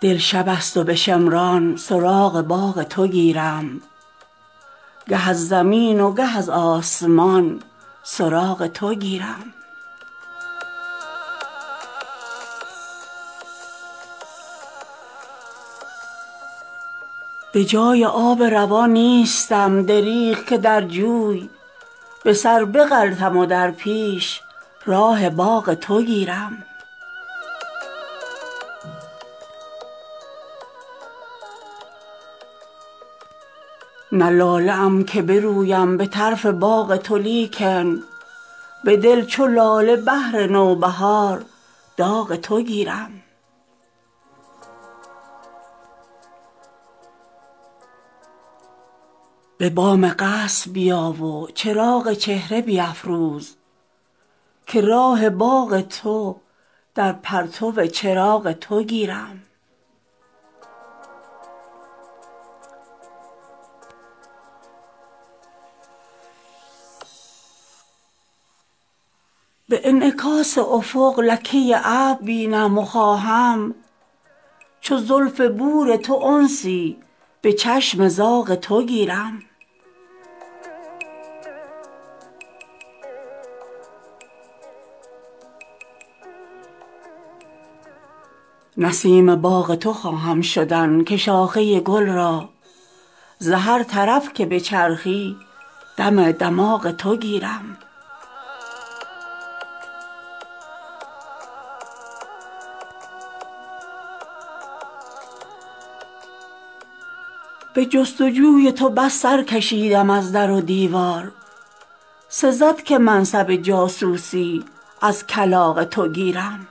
دل شبست و به شمران سراغ باغ تو گیرم گه از زمین و گه از آسمان سراغ تو گیرم به جای آب روان نیستم دریغ که در جوی به سر بغلطم و در پیش راه باغ تو گیرم نه لاله ام که برویم به طرف باغ تو لیکن به دل چو لاله بهر نوبهار داغ تو گیرم به بام قصر بیا و چراغ چهره بیفروز که راه باغ تو در پرتو چراغ تو گیرم به انعکاس افق لکه ابر بینم و خواهم چو زلف بور تو انسی به چشم زاغ تو گیرم نسیم باغ تو خواهم شدن که شاخه گل را ز هر طرف که بچرخی دم دماغ تو گیرم به جستجوی تو بس سرکشیدم از در و دیوار سزد که منصب جاسوسی از کلاغ تو گیرم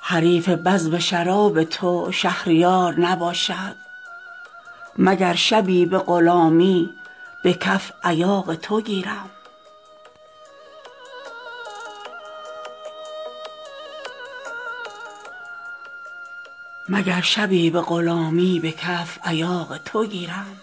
حریف بزم شراب تو شهریار نباشد مگر شبی به غلامی به کف ایاغ تو گیرم